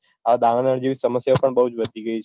આ દાવાનળ જેવી સમસ્યા પણ બૌ જ વધી ગઈ છે